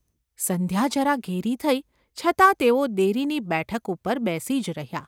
સંધ્યા જરા ઘેરી થઈ છતાં તેઓ દેરીની બેઠક ઉપર બેસી જ રહ્યા.